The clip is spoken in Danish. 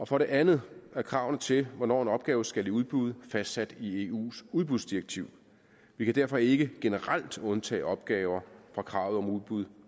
for det andet er kravene til hvornår en opgave skal i udbud fastsat i eus udbudsdirektiv vi kan derfor ikke generelt undtage opgaver fra kravet om udbud